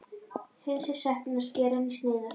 Hreinsið sveppina og skerið í sneiðar.